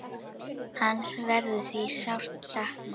Hans verður því sárt saknað.